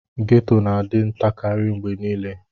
Ghetto na adi ntakari mgbe nile.